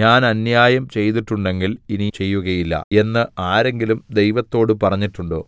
ഞാൻ അന്യായം ചെയ്തിട്ടുണ്ടെങ്കിൽ ഇനി ചെയ്യുകയില്ല എന്ന് ആരെങ്കിലും ദൈവത്തോട് പറഞ്ഞിട്ടുണ്ടോ